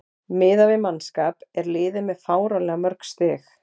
Miðað við mannskap er liðið með fáránlega mörg stig.